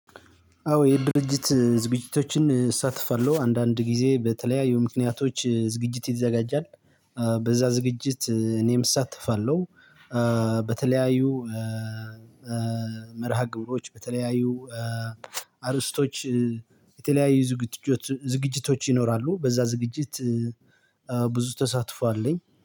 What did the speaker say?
አዎ የድርጅት ዝግጅቶችን እሳተፋለሁ አንዳንድ ጊዜ በተለያዩ ምክንያቶች ዝግጅት ይዘጋጃል በዛ ዝግጅት እኔም እሳትፋለሁ። እ በተለያዩ እ እ መርሃ ግብሮች በተለያዩ እ አርእስቶች በተለያዩ ዝግጅቶች ዝግጅቶች ይኖራሉ በዛ ዝግጅት። ብዙ ተሳትፎ አለኝ